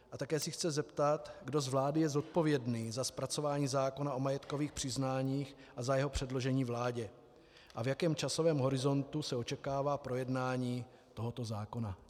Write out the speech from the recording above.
A také se chci zeptat, kdo z vlády je zodpovědný za zpracování zákona o majetkovém přiznání a za jeho předložení vládě a v jakém časovém horizontu se očekává projednání tohoto zákona.